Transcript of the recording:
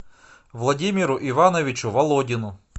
владимиру ивановичу володину